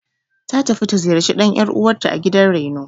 Ta tafi ta ziyarci ɗan ƴar'uwanrta a gidan raino.